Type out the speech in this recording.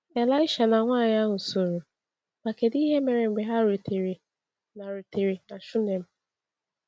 Elisha na nwaanyị ahụ soro, ma kedụ ihe mere mgbe ha rutere na rutere na Shunem?